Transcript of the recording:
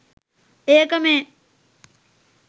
ඒක මේ.